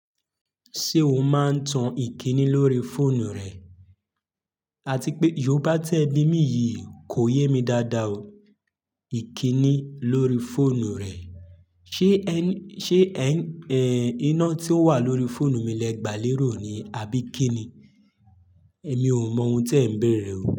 Ṣé o máa ń tan ìkíni lórí fóònù rẹ? Ati pé, yòòbá tí ẹ bí mi yìí kò yé mi dáadáa o. Ìkíni lórí fóònù rẹ. Ṣé ẹ ń ṣé ẹ́ ẹ̀ iná tí ó wà lórí fóònù mi lẹgbà lérò ni àbí kíni? Èmi ò mọ ohun tí ẹ̀ ń bèèrè o.